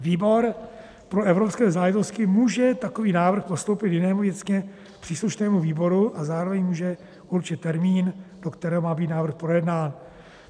Výbor pro evropské záležitosti může takový návrh postoupit jinému věcně příslušnému výboru a zároveň může určit termín, do kterého má být návrh projednán.